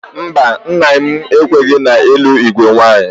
Mba, nna m ekwenyeghị n'ịlụ igwe nwaanyị?